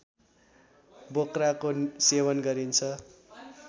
बोक्राको सेवन गरिन्छ